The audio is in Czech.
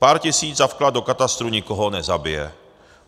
Pár tisíc za vklad do katastru nikoho nezabije.